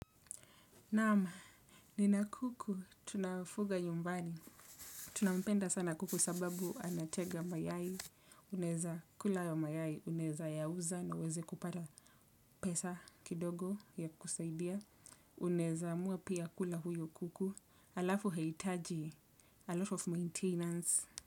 Naam, nina kuku, tunafuga nyumbani. Tunampenda sana kuku sababu anataga mayai, unaweza kula hayo mayai, unaweza yauza na uweze kupata pesa kidogo ya kusaidia. Unaweza amua pia kula huyo kuku, alafu hahitaji, 'a lot of maintenance'.